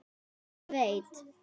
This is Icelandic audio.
Ég veit